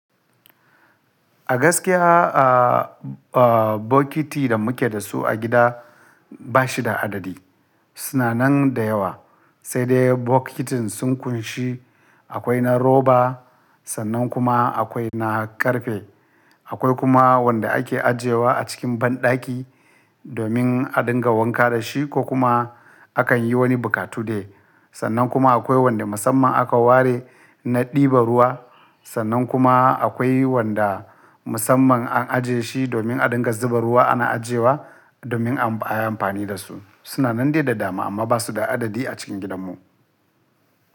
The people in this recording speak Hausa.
A gaskiya, a, a bokiti da muke da su a gida ba shi da adadi. Su na nan da yawa. Sai dai bokitin sun ƙunshi akwai na roba, sannan kuma akwai na ƙarfe. Akwai kuma wanda ake ajiyewa a cikin banɗaki domin a dinga wanka da shi ko kuma a kan yi wani bukatu da shi. Sannan kuma akwai wanda musamman aka ware na ɗibar ruwa. Sannan kuma akwai wanda musamman an ajiye shi domin a dinga zuba ruwa ana ajiyewa domin a yi amfani da su. Su na nan dai da dama amma ba su da adadi a cikin gidanmu.